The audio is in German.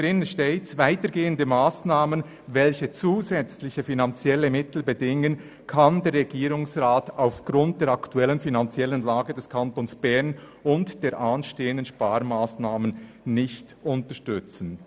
«Weitergehende Massnahmen, welche zusätzliche finanzielle Mittel bedingen, kann der Regierungsrat aufgrund der aktuellen finanziellen Lage des Kantons Bern und der anstehenden Sparmassnahmen nicht unterstützen.